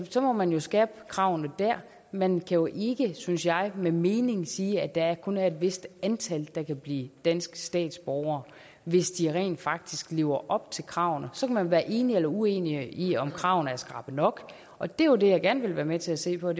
så man må skærpe kravene dér man jo ikke synes jeg med mening sige at der kun er et vist antal der kan blive danske statsborgere hvis de rent faktisk lever op til kravene så kan man være enig eller uenig i om kravene er skrappe nok og det er jo det jeg gerne vil være med til at se på